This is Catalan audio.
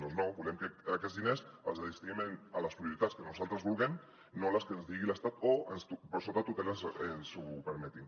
doncs no volem que aquests diners es destinin a les prioritats que nosaltres vulguem no a les que ens digui l’estat o per sota tutela ens ho permetin